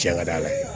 Cɛ ka d'a la